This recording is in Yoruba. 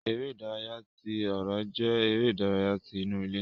Eré ìdárayá tí ọrọ jẹ eré ìdárayá tí inú ilé.